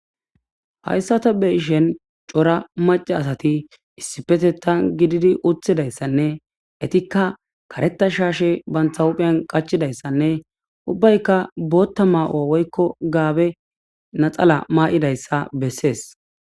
Hayissa taa be'ishshinn cora maca asati issippeteththan gididi uttidayissanne kaareta shashe banita huphpheni qachchidayissanne ubbayikka bota mayo woyikko gabee naxala mayidayissa besses.